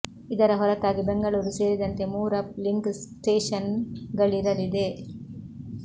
ಇದರ ಹೊರತಾಗಿ ಬೆಂಗಳೂರು ಸೇರಿದಂತೆ ಮೂರು ಅಪ್ ಲಿಂಕ್ ಸ್ಟೇಷನ್ ಗಳಿರಲಿದೆ